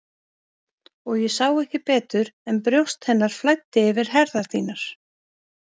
Og ég sá ekki betur en brjóst hennar flæddu yfir herðar þínar.